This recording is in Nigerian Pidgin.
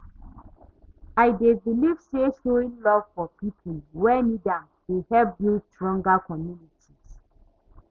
I dey believe say showing love for people wey need am dey help build stronger communities.